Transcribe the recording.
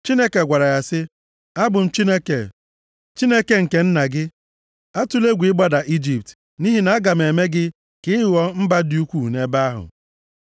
Chineke gwara ya sị, “Abụ m Chineke, Chineke nke nna gị. Atụla egwu ịgbada Ijipt nʼihi na aga m eme gị ka ị ghọọ mba dị ukwuu nʼebe ahụ.